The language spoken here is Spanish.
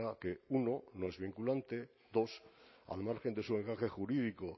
que uno no es vinculante dos al margen de su encaje jurídico